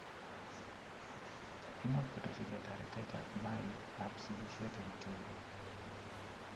Imuch koteschigei taretettab maik ab sigisiet ing tibik